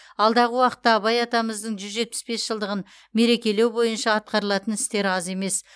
алдағы уақытта абай атамыздың жүз жетпіс бес жылдығын мерекелеу бойынша атқарылатын істер аз емес